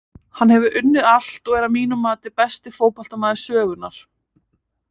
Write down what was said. Hann hefur unnið allt og er að mínu mati besti fótboltamaður sögunnar.